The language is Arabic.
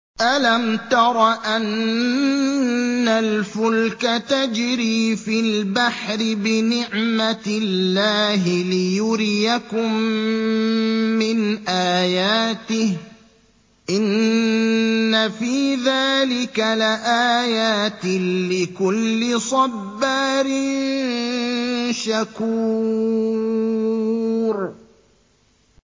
أَلَمْ تَرَ أَنَّ الْفُلْكَ تَجْرِي فِي الْبَحْرِ بِنِعْمَتِ اللَّهِ لِيُرِيَكُم مِّنْ آيَاتِهِ ۚ إِنَّ فِي ذَٰلِكَ لَآيَاتٍ لِّكُلِّ صَبَّارٍ شَكُورٍ